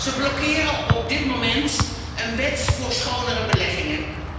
Ze blokkeren op dit moment een wet voor schonere beleggingen.